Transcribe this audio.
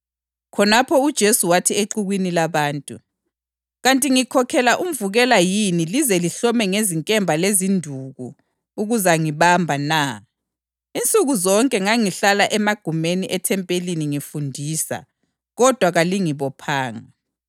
Khonapho uJesu wathi exukwini labantu, “Kanti ngikhokhela umvukela yini lize lihlome ngezinkemba lezinduku ukuzangibamba na? Insuku zonke ngangihlala emagumeni ethempeli ngifundisa, kodwa kalingibophanga.